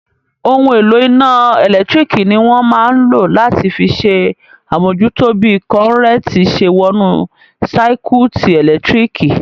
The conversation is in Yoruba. Ohun èlò iná ẹ̀lẹ́tírík ní wọ́n máa n lò láti fi ṣe àmújútó bí kọ́nrẹ́ntì ṣe wọnú sáíkúùtì ẹlẹtíríkì